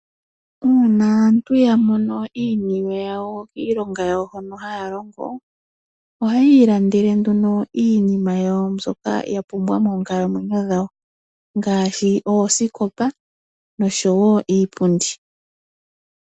Uuna aantu ya mono iiniwe yawo iilonga yawo hono haya longo, ohayii landele nduno iinima yawo mbyoka yapumbwa moonkalamwenyo dhawo, ngaashi oosikopa nosho woo iipundi.